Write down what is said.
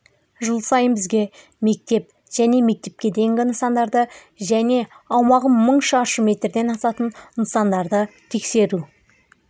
жыл сайын бізге мектеп және мектепке дейінгі нысандарды және аумағы мың шаршы метрден асатын нысандарды тексеру